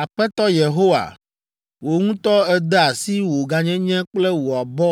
“Aƒetɔ Yehowa, wò ŋutɔ ède asi wò gãnyenye kple wò abɔ